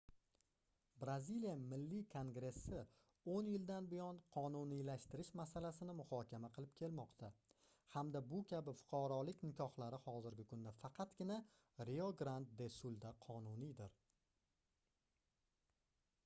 braziliya milliy kongressi 10 yildan buyon qonuniylashtirish masalasini muhokama qilib kelmoqda hamda bu kabi fuqarolik nikohlari hozirgi kunda faqatgina rio grand de sulda qonuniydir